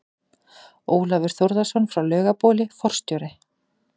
Ólafur Þórðarson frá Laugabóli, forstjóri